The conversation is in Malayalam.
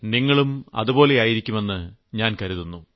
നിങ്ങളും അതുപോലെയായിരിക്കുമെന്ന് കരുതുന്നു